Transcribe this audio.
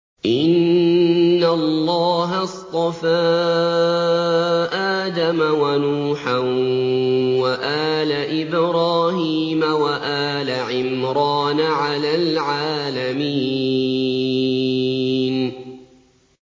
۞ إِنَّ اللَّهَ اصْطَفَىٰ آدَمَ وَنُوحًا وَآلَ إِبْرَاهِيمَ وَآلَ عِمْرَانَ عَلَى الْعَالَمِينَ